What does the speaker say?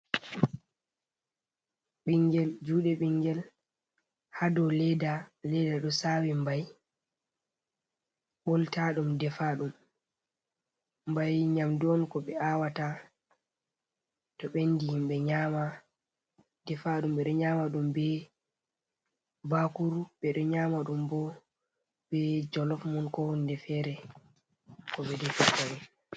Ɓingel, juɗe ɓingel ha dou ledda. Ledda ɗo sawi mbai ɓoltaɗum defaɗum. Mbai nyamdu on ko ɓe awata to bendi himɓe nyama. Defaɗum ɓeɗo nyama ɗum be bakuru, ɓeɗo nyama ɗum bo be jolof mun, ko hunde fere ko ɓe defirta ɗum.